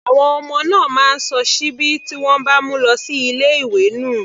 Àwọn ọmọ náà máa ń sọ síbí tí wọ́n bá mu lọ sí ilé ìwé nù.